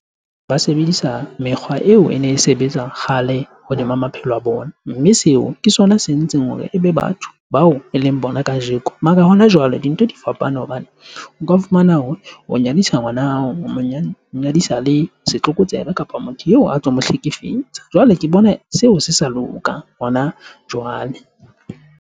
Ba sebedisa mekgwa eo ene e sebetsa kgale hodima maphelo a bona. Mme seo ke sona se entseng hore ebe batho bao eleng bona kajeko. Mara hona jwale dintho di fapane hobane o ka fumana hore o nyadisa ngwana hao, monyadisa le setlokotsebe kapa motho eo a tlo mo hlekefetsa. Jwale ke bona seo se sa loka hona jwale.